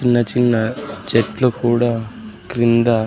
చిన్న చిన్న చెట్లు కూడా క్రింద.